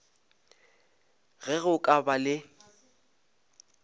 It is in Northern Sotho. ge go ka ba le